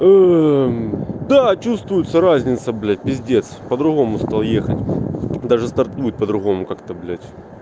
да чувствуется разница блять пиздец по-другому стал ехать даже стартнуть по-другому как-то блять